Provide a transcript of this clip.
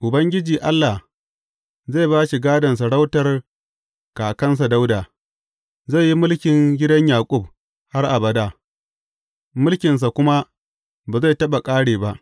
Ubangiji Allah zai ba shi gadon sarautar kakansa Dawuda, zai yi mulkin gidan Yaƙub har abada, mulkinsa kuma ba zai taɓa ƙare ba.